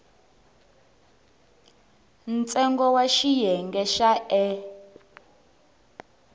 ntsengo wa xiyenge xa e